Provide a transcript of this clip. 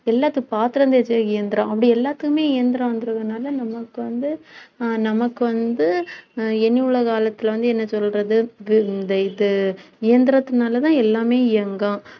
எல்லாத்துக்கும் பாத்திரம் தேக்க இயந்திரம். அப்படி எல்லாத்துக்குமே இயந்திரங்கிறதுனால நமக்கு வந்து ஆஹ் நமக்கு வந்து ஆஹ் இனியுள்ள காலத்தில வந்து என்ன சொல்றது இந்த இது இயந்திரத்தினால தான் எல்லாமே இயங்கும்